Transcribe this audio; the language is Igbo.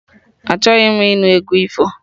Achọghị m ịnụ egwu ifo!